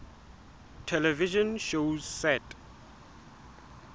television shows set